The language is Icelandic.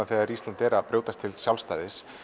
þegar Ísland er að brjótast til sjálfstæðis